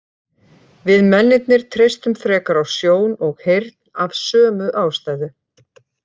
Við mennirnir treystum frekar á sjón og heyrn af sömu ástæðu.